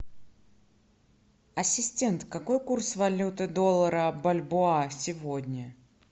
ассистент какой курс валюты доллара бальбоа сегодня